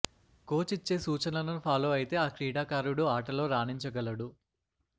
coach ఇచ్చే సూచనలను follow అయితే ఆ క్రీడాకారుడు ఆటలో రాణించగలడు